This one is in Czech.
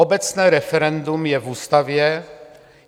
Obecné referendum je v ústavě.